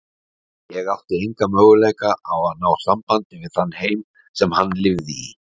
Ég átti enga möguleika á að ná sambandi við þann heim sem hann lifði í.